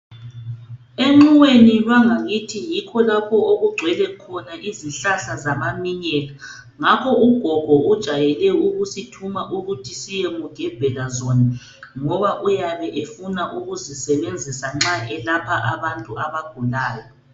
Enxiweni lwangakithi yikho lapho okugcwele khona izihlahla zamaminyela, ngakho ugogo ujayele ukusithuma ukuthi siyemugebhela zona. Ngoba uyabe efuna ukuzisebenzisa nxa elapha abantu abagulayo.